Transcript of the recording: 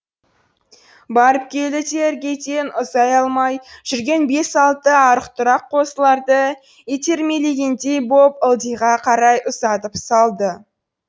барып келді де іргеден ұзай алмай жүрген бес алты арық тұрақ қозыларды итермелегендей боп ылдиға қарай ұзатып салды